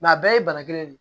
a bɛɛ ye bana kelen de ye